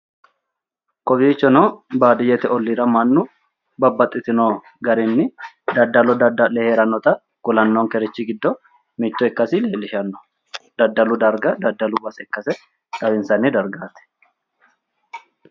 kowiichono baadiyyete olliira mannu babbaxxitino garinni daddalo dadda'le heerannota kulannonkerichi giddo mitto ikkasi leellishshanno daddalu darga daddalu base ikkasi xawinsanni dargaati